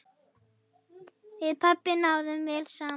Við pabbi náðum vel saman.